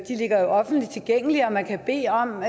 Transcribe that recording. ligger jo offentligt tilgængeligt og man kan bede om